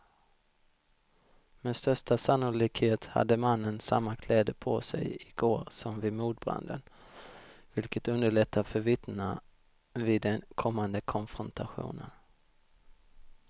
Med största sannolikhet hade mannen samma kläder på sig i går som vid mordbranden, vilket underlättar för vittnena vid den kommande konfrontationen.